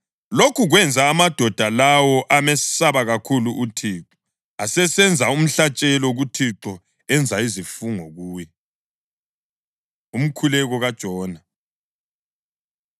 Lokhu kwenza amadoda lawo amesabe kakhulu uThixo, asesenza umhlatshelo kuThixo enza izifungo kuye. Umkhuleko KaJona